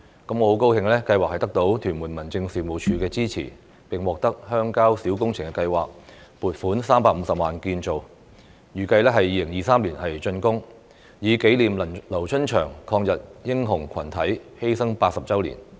我很高興計劃得到屯門民政事務處的支持，並獲得鄉郊小工程計劃撥款350萬元建造，預計2023年竣工，以紀念"劉春祥抗日英雄群體"犧牲80周年。